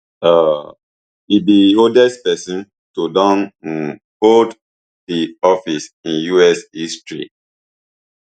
um e be oldest pesin to don um hold di office in us history